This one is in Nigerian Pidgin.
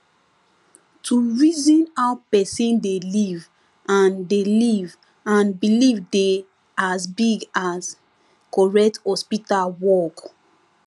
to reason how person dey live and dey live and believe dey as big as correct hospital work